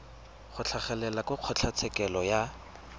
go tlhagelela kwa kgotlatshekelo ka